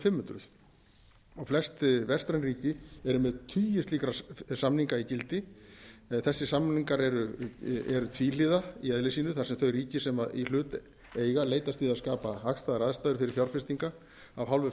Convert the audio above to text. hundruð og flest vestræn ríki eru með tugi slíkra samninga í gildi þessir samningar eru tvíhliða í eðli sínu þar sem þau ríki sem í hlut eiga leitast við að skapa hagstæðar aðstæður fyrir fjárfestingar af hálfu